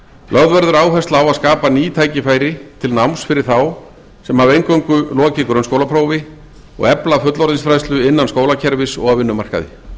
lögð verður áhersla á að skapa ný tækifæri til náms fyrir þá sem hafa eingöngu lokið grunnskólaprófi og efla fullorðinsfræðslu innan skólakerfis og á vinnumarkaði